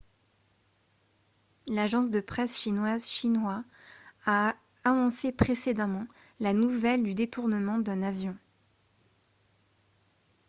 l'agence de presse chinoise xinhua a annoncé précédemment la nouvelle du détournement d'un avion